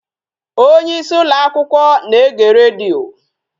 Onyeisi ụlọakwụkwọ na-ege redio